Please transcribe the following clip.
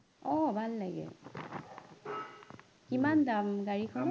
অ ভাল লাগিল কিমান দাম গাড়ীখনৰ